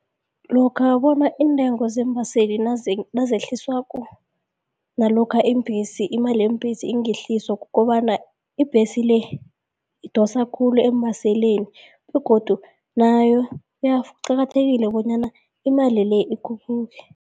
Lokha bona iintengo zeembaseli nezehliswako nalokha imali yeembhesi ingehliswa kukobana ibhesi le idosa khulu eembaseleni begodu nayo kuqakathekile bonyana imali le ikhuphuke.